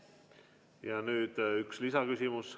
Nüüd üks lisaküsimus.